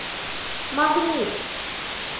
магнит